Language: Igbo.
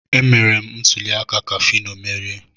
Emere m ntuli aka ka Fino merie.